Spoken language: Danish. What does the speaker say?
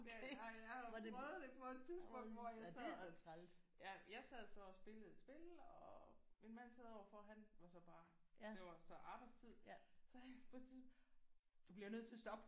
Jeg har jo prøvet det på et tidspunkt hvor jeg sad ja jeg sad så og spillede et spil og min mand sad overfor. Han var så bare det var så arbejdstid så på et tidspunkt du bliver nødt til at stoppe!